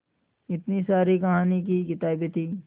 इतनी सारी कहानी की किताबें थीं